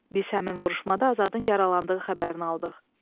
Biz həmin vuruşmada Azadın yaralandığı xəbərini aldıq.